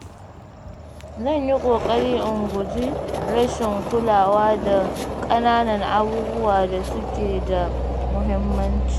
Zan yi ƙoƙari in guji rashin kulawa da ƙananan abubuwan da suke da mahimmanci.